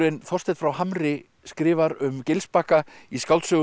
Þorsteinn frá Hamri skrifar um Gilsbakka í skáldsögunni